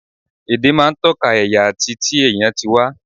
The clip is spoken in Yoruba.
Èdè máa ń tọ́ka ẹ̀yà àti ti èèyàn tí wá